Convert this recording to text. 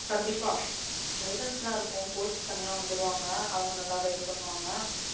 கண்டிப்பா guidance லாம் இருக்கும். coach தனியா வந்துருவாங்க அவுங்க நல்ல guide பண்ணுவங்க.